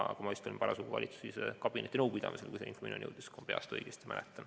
Ma ise olin parasjagu valitsuskabineti nõupidamisel, kui see info minuni jõudis – kui ma peast õigesti mäletan.